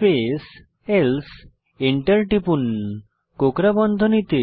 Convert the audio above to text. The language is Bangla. স্পেস এন্টার টিপুন এলসে স্পেস কোকড়া বন্ধনীতে